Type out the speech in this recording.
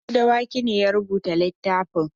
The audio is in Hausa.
Habu Dawaki ne ya rubuta littafin.